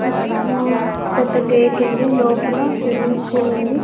మ్మ్ పెద్ద గేట్ ఉంది లోపల స్విమ్మింగ్ పూల్ ఉంది.